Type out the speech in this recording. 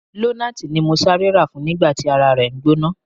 Lonaati ni mo sare ra fun nigba ti ara re n gbona.